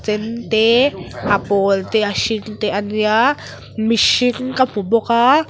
chen te a pawl te hring te a nia mihring ka hmu bawk a.